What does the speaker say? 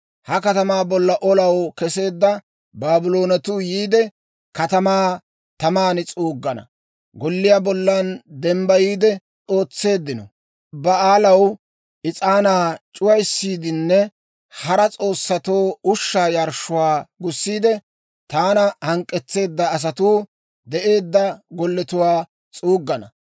Ha katamaa bolla olaw keseedda Baabloonetuu yiide, katamaa taman s'uuggana; golliyaa bollan dembbayiide ootseeddino Ba'aalaw is'aanaa c'uwaysiidinne hara s'oossatoo ushshaa yarshshuwaa gussiide, taana hank'k'etseedda asatuu de'eedda golletuwaakka s'uuggana.